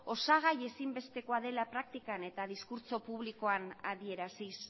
osagai ezinbestekoa dela praktikan eta diskurtso publikoak adieraziz